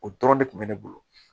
O dɔrɔn de tun bɛ ne bolo